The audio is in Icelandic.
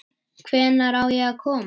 Hvenær á ég að koma?